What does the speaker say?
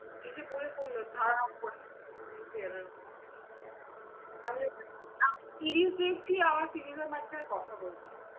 এসে বসে পড়লো ধাপ করে easy চেয়ারের উপর। আমি ফিরিয়ে দিয়েছি আমাদের তিনজনের মাঝখানে কথা বলছে।